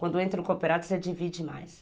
Quando entra no cooperativo, você divide mais.